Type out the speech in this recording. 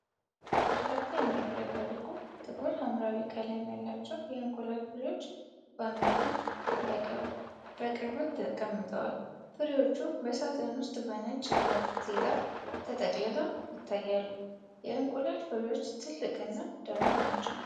በርካታ የሚያብረቀርቁ ጥቁር ሐምራዊ ቀለም ያላቸው የእንቁላል ፍሬዎች (ባሚያ) በቅርበት ተቀምጠዋል። ፍሬዎቹ በሳጥን ውስጥ በነጭ ጋዜጣ ተጠቅልለው ይታያሉ። የእንቁላል ፍሬዎቹ ትልቅ እና ደማቅ ናቸው።